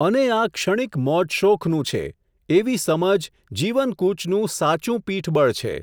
અને આ ક્ષણિક મોજશોખનું છે, એવી સમજ જીવનકૂચનું સાચું પીઠબળ છે.